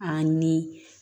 A ni